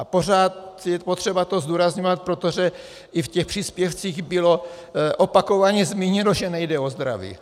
A pořád je potřeba to zdůrazňovat, protože i v těch příspěvcích bylo opakovaně zmíněno, že nejde o zdraví.